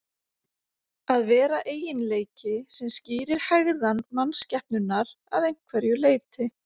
að vera eiginleiki sem skýrir hegðan mannskepnunnar að einhverju leyti